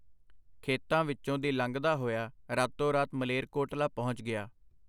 ਖੇਤਾਂ ਵਿੱਚੋਂ ਦੀ ਲੰਘਦਾ ਹੋਇਆ ਰਾਤੋ ਰਾਤ ਮਲੇਰਕੋਟਲਾ ਪਹੁੰਚ ਗਿਆ.